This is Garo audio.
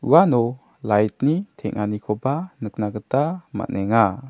uano light-ni teng·anikoba nikna gita man·enga.